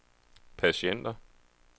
patienter